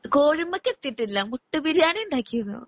കൊഴുമ്പോ കിടത്തിയിട്ടില്ല. മുട്ട ബിരിയാണി ഉണ്ടാക്കിയിരുന്നു.